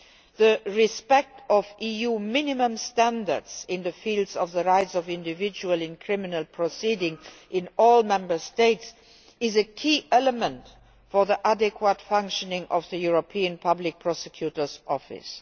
The respect of EU minimum standards in the fields of the rights of the individual in criminal proceedings in all Member States is a key element for the proper functioning of the European Public Prosecutor's Office.